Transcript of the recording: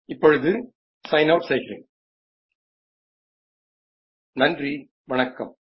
ઇપ્પોડું sign out સીગીરેન નાનરી વન્ક્કમ